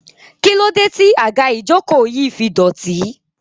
kílódé tí àga ìjokòó yìí fi dọ̀tí?